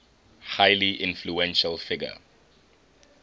highly influential figure